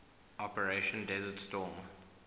operation desert storm